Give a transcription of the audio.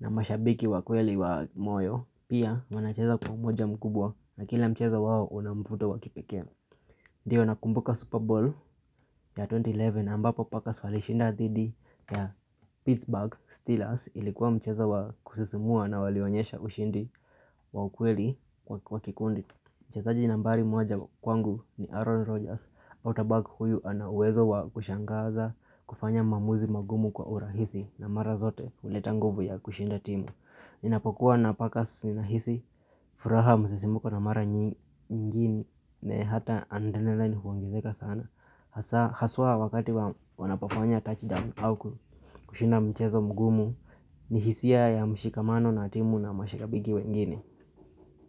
na mashabiki wa kweli wa moyo. Pia wanacheza kwa umoja mkubwa na kila mcheza wao una mvuto wa kipekee. Ndiyo nakumbuka Super Bowl ya elfu mbili na kumi na moja ambapo Packers walishinda dhidi ya Pittsburgh Steelers ilikuwa mchezo wa kusisimua na walionyesha ushindi wa ukweli wa kikundi. Mchezaji nambari moja kwangu ni Aaron Rodgers. Autabag huyu ana uwezo wa kushangaza kufanya mamuzi magumu kwa urahisi na mara zote uleta nguvu ya kushinda timu. Ninapokuwa napakas ninahisi, furaha msisimuko na mara nyingine hata adrenaline huongezeka sana. Haswa wakati wanapofanya touchdown au kushinda mchezo mgumu ni hisia ya mshikamano na timu na mashikabigi wengine.